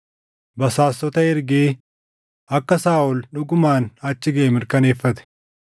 basaastota ergee akka Saaʼol dhugumaan achi gaʼe mirkaneeffate.